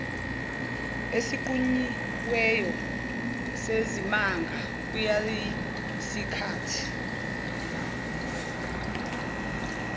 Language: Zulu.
esinqunyiweyo sezimanga kwakuyisikhathi